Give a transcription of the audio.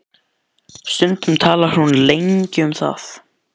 Stundum talar hún lengi um það.